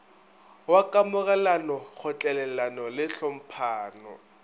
wa kamogelano kgotlelelano le tlhomphano